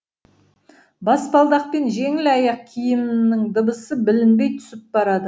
баспалдақпен жеңіл аяқ киімінің дыбысы білінбей түсіп барады